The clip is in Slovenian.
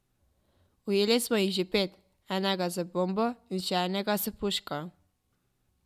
Ujeli smo jih že pet, enega z bombo in še enega s puško.